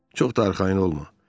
Çox da arxayın olma.